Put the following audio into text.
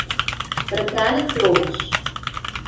Bratranec Romeš.